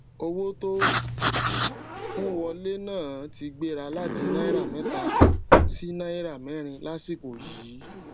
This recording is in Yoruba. owó tó n wọlé náà ti gbéra láti náírà méta sí náírà mérin lásìkò yìí